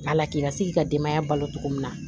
Wala k'i ka se k'i ka denbaya balo cogo min na